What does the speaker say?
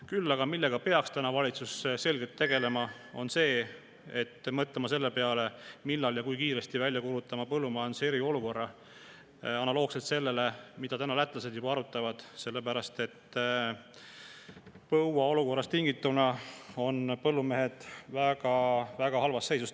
Küll aga peaks valitsus praegu väga selgelt tegelema sellega, et mõelda, millal ja kui kiiresti peab välja kuulutama põllumajanduse eriolukorra, analoogselt sellega, mida lätlased juba arutavad, sellepärast et põuast tingituna on põllumehed väga halvas seisus.